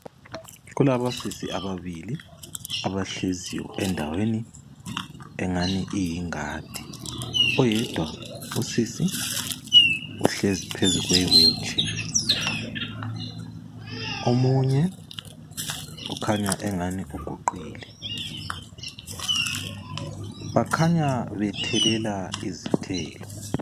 Kulabosisi ababili abahleziyo endaweni engani iyingadi. Oyedwa usisi uhlezi phezu kwe wheelchair omunye ukhanya engani uguqile. Bakhanya bethelela izithelo.